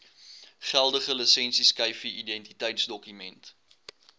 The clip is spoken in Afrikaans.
geldige lisensieskyfie identiteitsdokument